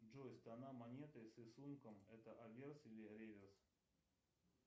джой сторона монеты с рисунком это аверс или реверс